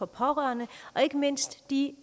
pårørende og ikke mindst de